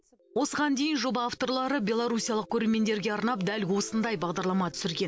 осыған дейін жоба авторлары белорусиялық көрермендерге арнап дәл осындай бағдарлама түсірген